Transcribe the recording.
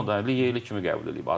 Onu da legioner kimi qəbul eləyib.